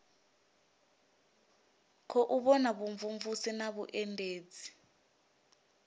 khou vha vhumvumvusi na vhuendedzi